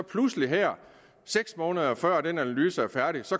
pludselig her seks måneder før analysen er færdig